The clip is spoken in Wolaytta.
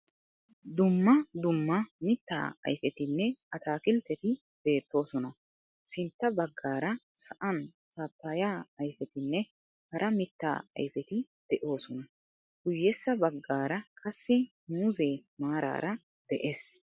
duummaa duummaa mitta ayfetinne atakiltteti beettosona. sintta baggara sa7aan paappaya ayfetinne haara mitta ayfeti de7osona. guyyessa baggara qassi muuzzee maararaa de7es.